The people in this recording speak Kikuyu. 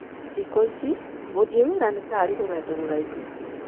Thikũ ici, gũthiĩ wĩra nĩ ta arĩ rũgendo rũraihu.